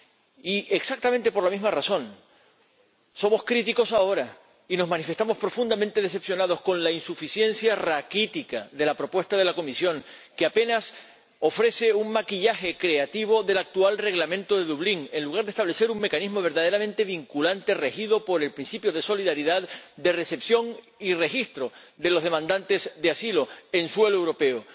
Y, exactamente por la misma razón, somos críticos ahora y nos manifestamos profundamente decepcionados con la insuficiencia raquítica de la propuesta de la Comisión, que apenas ofrece un maquillaje creativo del actual Reglamento de Dublín en lugar de establecer un mecanismo verdaderamente vinculante regido por el principio de solidaridad, de recepción y registro de los demandantes de asilo en suelo europeo.